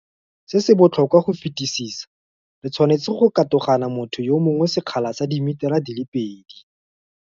Se se botlhokwa go fetisisa, re tshwanetse go katogana motho yo mongwe sekgala sa dimitara di le pedi.